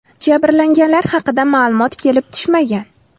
Jabrlanganlar haqida ma’lumot kelib tushmagan.